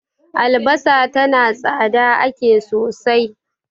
albasa tana tsada ake sosai